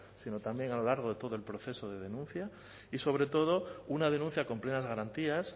sino también a lo largo de todo el proceso de denuncia y sobre todo una denuncia con plenas garantías